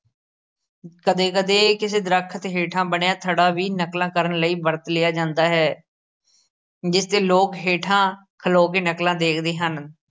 ਕਦੇ ਕਦੇ ਕਿਸੇ ਦਰਖਤ ਹੇਠਾਂ ਬਣਿਆਂ ਥੜਾ ਵੀ ਨਕਲਾਂ ਕਰਨ ਲਈ ਵਰਤ ਲਿਆ ਜਾਂਦਾ ਹੈ ਜਿਸ ਤੇ ਲੋਕ ਹੇਠਾਂ ਖਲੋ ਕੇ ਨਕਲਾਂ ਦੇਖਦੇ ਹਨ।